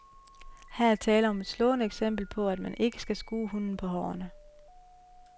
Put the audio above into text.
Her er tale om et slående eksempel på, at man ikke skal skue hunden på hårene.